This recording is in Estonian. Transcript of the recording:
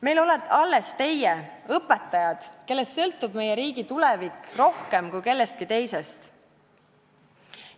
Meil olete alles teie, õpetajad, kellest sõltub meie riigi tulevik rohkem kui kellestki teisest.